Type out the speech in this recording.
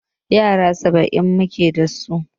Yara saba'in muke dasu.